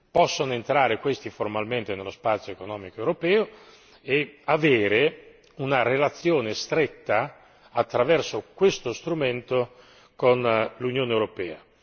Possono entrare questi formalmente nello spazio economico europeo e avere una relazione stretta, attraverso questo strumento, con l'Unione europea?